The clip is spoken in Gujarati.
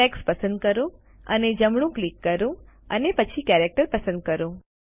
ટેક્સ્ટ પસંદ કરો અને જમણું ક્લિક કરો અને પછી કેરેક્ટર પસંદ કરો